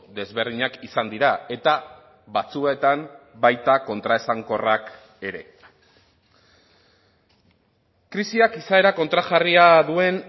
desberdinak izan dira eta batzuetan baita kontraesankorrak ere krisiak izaera kontrajarria duen